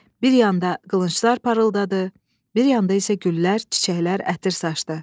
Bir yanda qılınclar parıldadı, bir yanda isə güllər, çiçəklər ətir saçdı.